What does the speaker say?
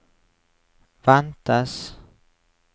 ventes